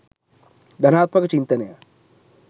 ධනාත්මක චින්තනය